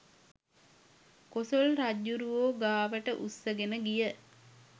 කොසොල් රජ්ජුරුවෝ ගාවට උස්සගෙන ගියා